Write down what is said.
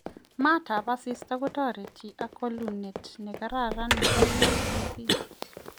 Maat ab asista ko toreti ,ak walunet ne kararan nebo UVB.